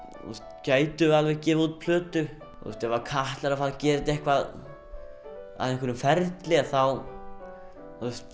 gætum við alveg gefið út plötu ef Katla er að fara að gera þetta að einhverjum ferli þá